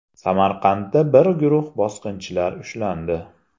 Samarqandda bir guruh bosqinchilar ushlandi.